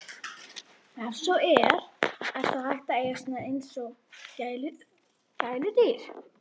Ef svo er, er þá hægt að eiga þá svona eins og gæludýr?